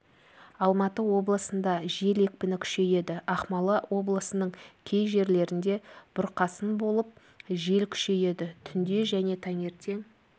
алматы облысында жел екпіні күшейеді ақмола облысының кей жерлерінде бұрқасын болып жел күшейеді түнде және таңертең